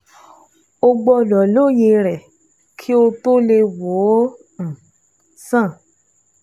O gbọ́dọ̀ lóye rẹ̀ kó o tó lè wò ó um sàn